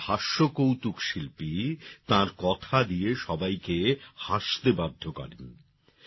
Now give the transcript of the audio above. একজন হাস্য কৌতুক শিল্পী তাঁর কথা দিয়ে সবাইকে হাসতে বাধ্য করেন